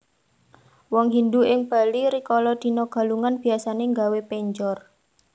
Wong Hindu ing Bali rikala dina Galungan biasané nggawé penjor